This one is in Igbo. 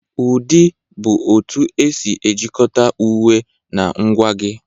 Ụdị bụ otu esi ejikọta uwe na ngwa gị.